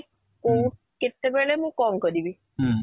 କୋଉ କେତେ ବେଳେ ମୁଁ କ'ଣ କରିବି ?